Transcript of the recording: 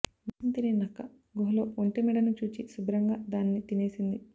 మాంసం తినే నక్క గుహలో ఒంటె మెడను చూచి శుభ్రంగా దాన్ని తినేసింది